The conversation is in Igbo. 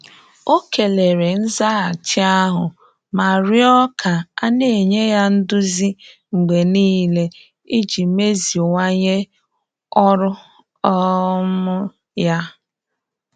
Ọ kelere nzaghachi ahụ ma rịọ ka a na-enye ya nduzi mgbe niile iji meziwanye ọrụ um ya.